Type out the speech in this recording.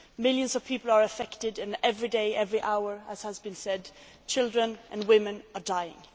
Millions of people are affected and every day, every hour, as has been said, children and women are dying.